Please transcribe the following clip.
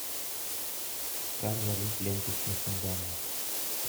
как залить ленточный фундамент